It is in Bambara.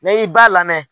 N'i ba lamɛn